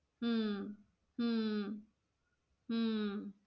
हम्म हम्म हम्म